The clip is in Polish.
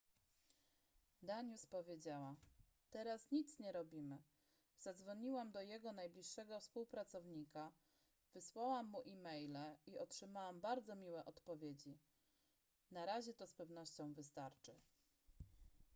danius powiedziała teraz nic nie robimy zadzwoniłam do jego najbliższego współpracownika wysłałam mu e-maile i otrzymałam bardzo miłe odpowiedzi na razie to z pewnością wystarczy